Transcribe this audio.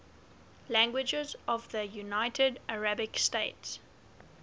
languages of the united arab emirates